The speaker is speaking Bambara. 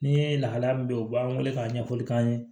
Ni ye lahalaya min be yen u b'an wele k'a ɲɛfɔli k'an ye